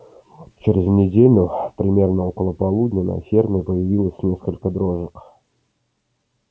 через неделю примерно около полудня на ферме появилось несколько дрожек